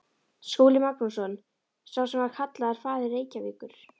Skúli Magnússon, sá sem var kallaður faðir Reykjavíkur.